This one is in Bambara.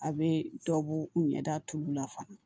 A bɛ dɔ bɔ ɲɛda tulu la fana